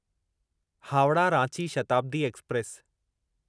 Howrah Ranchi Shatabdi express